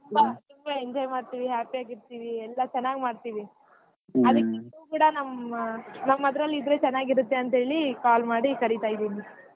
ತುಂಬಾ enjoy ಮಾಡ್ತೀವಿ happy ಆಗಿ ಇರ್ತೀವಿ ಎಲ್ಲಾ ಚನಾಗ್ ಮಾಡ್ತೀವಿ ನಮ್ ನಮ್ಮ ಹತ್ರಲಿದರೇ ಚನಗಿರತ್ತೆ ಅಂತ ಹೇಳಿ call ಮಾಡಿ ಕರಿತಾ ಇದೀನಿ.